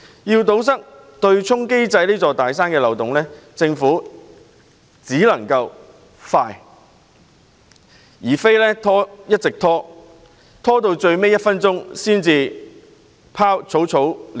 要堵塞對沖機制這座"大山"的漏洞，政府必須迅速行動，不能一直拖延，直至最後一分鐘才草草了事。